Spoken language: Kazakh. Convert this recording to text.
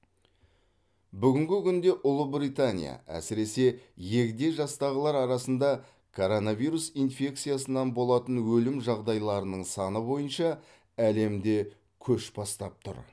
бүгінгі күнде ұлыбритания әсіресе егде жастағылар арасында киронавирус инфекциясынан болатын өлім жағдайларының саны бойынша әлемде көш бастап тұр